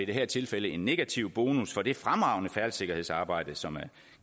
det her tilfælde en negativ bonus for det fremragende færdselssikkerhedsarbejde som